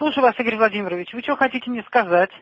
слушаю вас игорь владимирович вы что хотите мне сказать